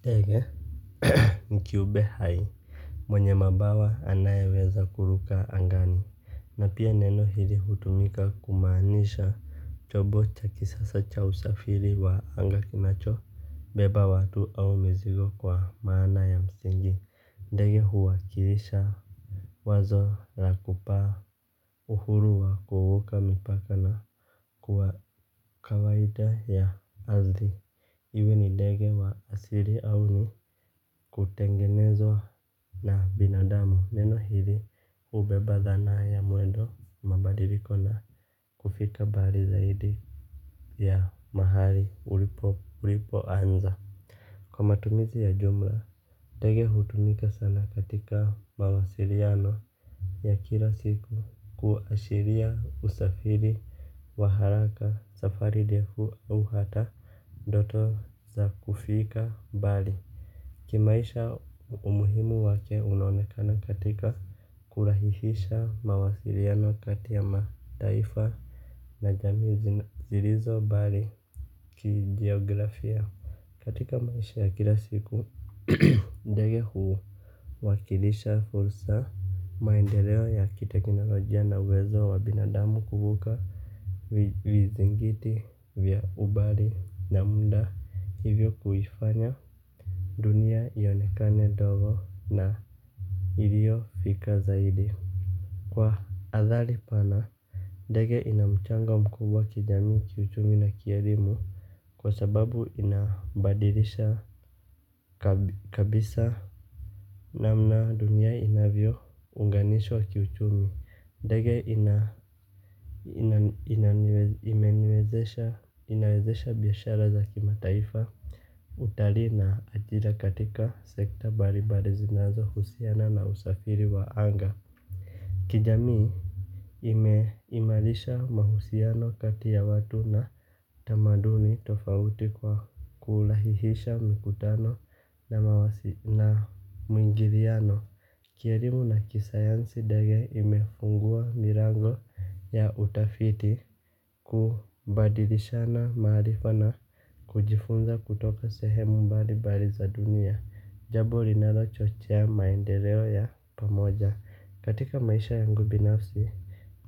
Ndege ni kiumbe hai mwenye mabawa anayeweza kuruka angani na pia neno hili hutumika kumaanisha chombo cha kisasa cha usafiri wa anga kinacho beba watu au mizigo kwa maana ya msingi. Ndege huwakilisha wazo la kupaa, uhuru wa kuvuka mipaka na kuwa kawaida ya asili. Iwe ni ndege wa asili au ni kutengenezwa na binadamu. Neno hili hubeba dhana ya mwendo, mabadiliko na kufika mbali zaidi ya mahali ulipoanza. Kwa matumizi ya jumla ndege hutumika sana katika mawasiliano ya kila siku kuashiria usafiri, wa haraka, safari ndefu au hata ndoto za kufika mbali. Kimaisha umuhimu wake unaonekana katika kurahihisha mawasiliano kati ya mataifa, na jamii zilizo mbali kijiografia. Katika maisha ya kila siku ndege huwakilisha fursa maendeleo ya kiteknolojia na uwezo wa binadamu kuvuka vizingiti vya umbali na muda hivyo kuifanya dunia ionekane ndogo na hivyo fikra zaidi. Kwa athari pana ndege ina mchango mkubwa kijamii, kiuchumi na kielimu kwa sababu inabadilisha kabisa namna dunia inavyounganishwa kiuchumi. Ndege ina imeniwezesha inawezesha biashara za kimataifa, utalii na ajira katika sekta mbalimbali zinazohusiana na usafiri wa anga. Kijamii imeimarisha mahusiano kati ya watu na tamaduni tofauti kwa kurahihisha mikutano na mwingiliano. Kielimu na kisayansi ndege imefungua milango ya utafiti kubadilishana maarifa na kujifunza kutoka sehemu mbalimbali za dunia. Jambo linalochochea maendeleo ya pamoja. Katika maisha yangu kibinafsi,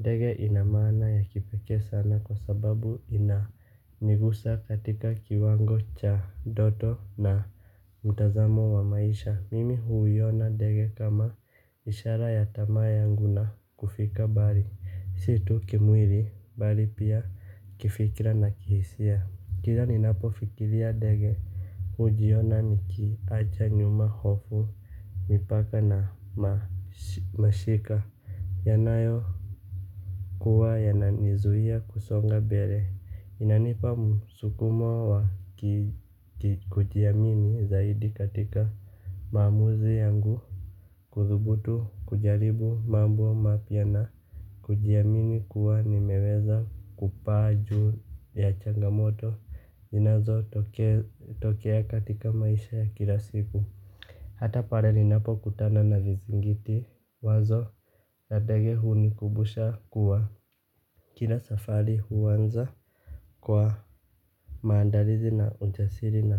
ndege ina maana ya kipekee sana kwa sababu inanigusa katika kiwango cha ndoto na mtazamo wa maisha. Mimi huiona ndege kama ishara ya tamaa yangu na kufika mbali. Si tu kimwili bali pia kifikira na kihisia. Kila ninapofikiria ndege hujiona nikiacha nyuma hofu mipaka na mashika yanayokuwa yananizuia kusonga mbele. Inanipa msukumo wa kikujiamini zaidi katika maamuzi yangu. Kuthubutu kujaribu mambo mapya na kujiamini kuwa nimeweza kupaa juu ya changamoto zinazotokea katika maisha ya kila siku. Hata pale ninapokutana na vizingiti, wazo la ndege hunikumbusha kuwa kila safari huanza kwa maandalizi na ujasiri na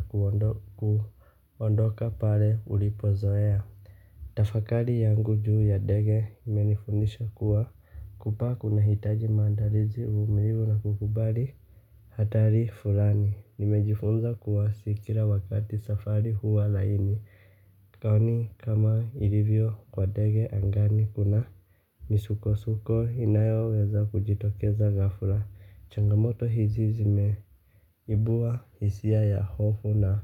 kuondoka pale ulipozoea. Tafakari yangu juu ya ndege imenifundisha kuwa kupaa kunahitaji maandalizi, uvumilivu na kukubali hatari fulani, nimejifunza kuwa si kila wakati safari huwa laini. Kauni kama ilivyo kwa ndege angani kuna misukosuko inayoweza kujitokeza ghafla changamoto hizi zimeibua hisia ya hofu na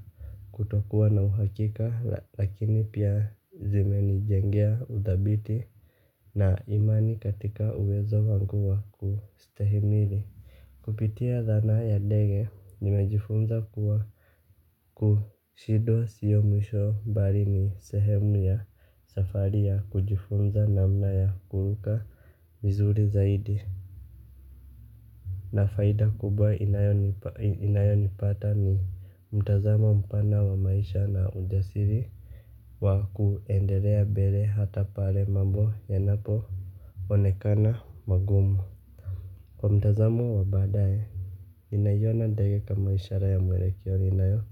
kutokuwa na uhakika lakini pia zimenijengea uthabiti na imani katika uwezo wangu wa kustahimili. Kupitia dhana ya ndege nimejifunza kuwa kushindwa sio mwisho bali ni sehemu ya safari ya kujifunza namna ya kuvuka vizuri zaidi na faida kubwa inayonipata ni mtazamo mpana wa maisha na ujasiri wa kuendelea mbele hata pale mambo yanapo onekana magumu. Mtazamo wa baadae ninaiona nitaiweka kama ishara ya mwelekeo inayo.